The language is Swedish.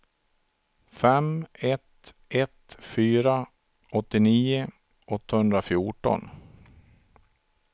fem ett ett fyra åttionio åttahundrafjorton